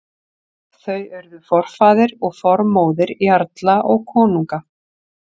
Þau urðu forfaðir og formóðir jarla og konunga.